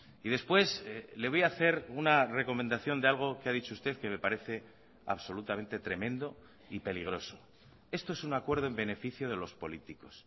y después le voy a hacer una recomendación de algo que ha dicho usted que me parece absolutamente tremendo y peligroso esto es un acuerdo en beneficio de los políticos